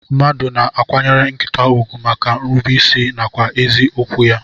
Mmadu na akwanyere nkita ugwu maka nrube isi nakwa ezi okwu ya.